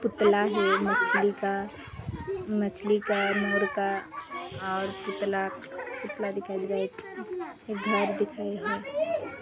पुतला है मछली का मछली का मोर का और पुतला पुतला दिखाई दे रहा है घर दिख रहे है।